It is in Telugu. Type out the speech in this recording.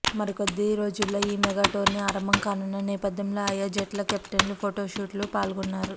మరికొద్ది రోజుల్లో ఈ మెగా టోర్నీ ఆరంభం కానున్న నేపథ్యంలో ఆయా జట్ల కెప్టెన్లు ఫొటోషూట్లో పాల్గొన్నారు